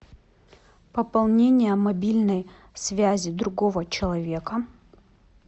пополнение мобильной связи другого человека